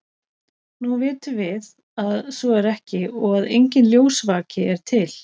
Nú vitum við að svo er ekki og að enginn ljósvaki er til.